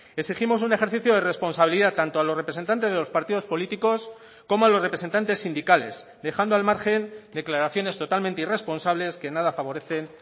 exigimos un ejercicio de responsabilidad tanto a los representantes de los partidos políticos como a los representantes sindicales dejando al margen declaraciones totalmente irresponsables que nada favorecen